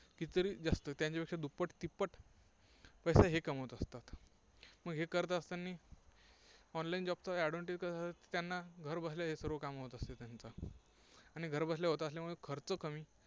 किती तरी जास्त, त्यांच्यापेक्षा दुप्पट तिप्पट पैसा हे कमवत असतात. मग हे करत असतानी online job चा advantage कसं असतं, त्यांना घरबसल्या हे सर्व काम होत असतात. आणि घरबसल्या होत असल्यामुळे खर्च कमी